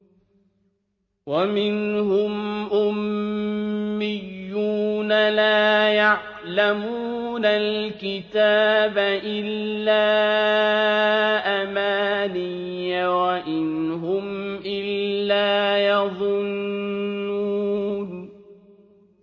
وَمِنْهُمْ أُمِّيُّونَ لَا يَعْلَمُونَ الْكِتَابَ إِلَّا أَمَانِيَّ وَإِنْ هُمْ إِلَّا يَظُنُّونَ